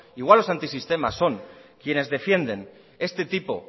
igual los antisistema son quienes defienden este tipo